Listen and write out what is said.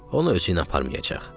O onu özüylə aparmayacaq.